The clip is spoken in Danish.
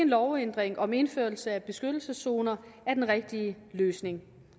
lovændring om indførelse af beskyttelseszoner er den rigtige løsning